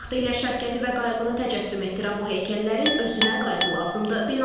Vaxtilə şəfqəti və qayğını təcəssüm etdirən bu heykəllərin özünə qayğı lazımdır.